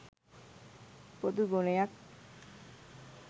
පොදු ගුණයක්.